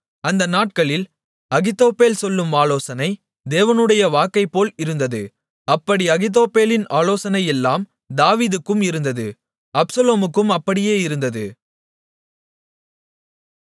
அந்த நாட்களில் அகித்தோப்பேல் சொல்லும் ஆலோசனை தேவனுடைய வாக்கைப்போல இருந்தது அப்படி அகித்தோப்பேலின் ஆலோசனையெல்லாம் தாவீதுக்கும் இருந்தது அப்சலோமுக்கும் அப்படியே இருந்தது